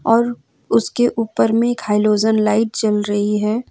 और उसके ऊपर में एक हैलोजन लाइट जल रही है।